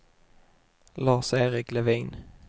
Lars-Erik Levin